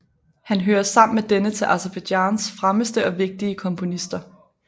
Han hører sammen med denne til Aserbajdsjans fremmeste og vigtige komponister